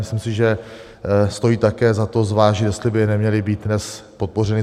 Myslím si, že stojí také za to, zvážit, jestli by neměly být dnes podpořeny.